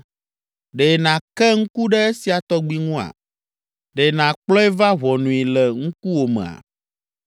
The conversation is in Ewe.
Ɖe nàke ŋku ɖe esia tɔgbi ŋua? Ɖe nàkplɔe va ʋɔnui le ŋkuwòmea?